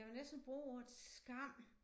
Jeg vil næsten bruge ordet skam